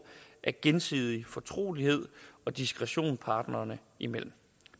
af gensidig fortrolighed og diskretion parterne imellem